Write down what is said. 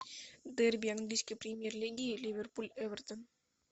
дерби английской премьер лиги ливерпуль эвертон